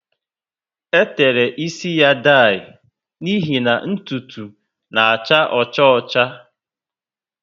E tere ísì ya daii, n'ihi na ntụtụ na acha ọcha ocha